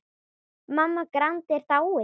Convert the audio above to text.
Mamma Grand er dáin.